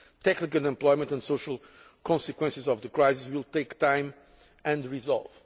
Tackling unemployment and the social consequences of the crisis will take time and resolve.